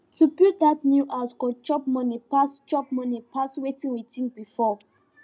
to build that new small house go chop money pass chop money pass wetin we think before